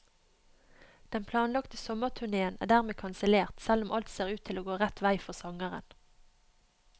Den planlagte sommerturnéen er dermed kansellert, selv om alt ser ut til å gå rett vei for sangeren.